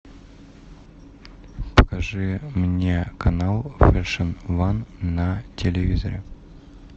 покажи мне канал фэшн ван на телевизоре